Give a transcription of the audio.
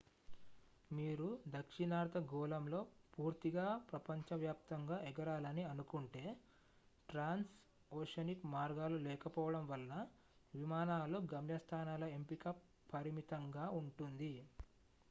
మీరు దక్షిణార్ధ గోళంలో పూర్తిగా ప్రపంచవ్యాప్తంగా ఎగరాలని అనుకుంటే ట్రాన్స్ ఓషనిక్ మార్గాలు లేకపోవడం వలన విమానాలు గమ్యస్థానాల ఎంపిక పరిమితంగా ఉంటుంది